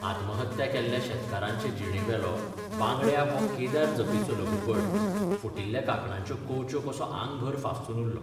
आत्महत्त्या केल्ल्या शेतकारांचे जिणेवेलो 'बांगड्या 'हो केदार जपेचो लघुपट फुटिल्ल्या कांकणांच्यो कंवच्यो कसो आंगभर फाफसून उरलो.